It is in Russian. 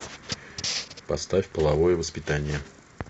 поставь половое воспитание